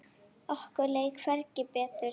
Okkur leið hvergi betur.